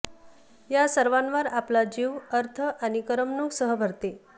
या सर्वावर आपला जीव अर्थ आणि करमणूक सह भरते